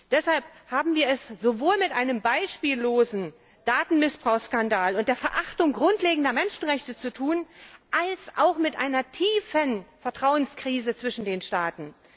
Deshalb haben wir es sowohl mit einem beispiellosen Datenmissbrauchskandal und der Verachtung grundlegender Menschenrechte zu tun als auch mit einer tiefen Vertrauenskrise zwischen den Staaten.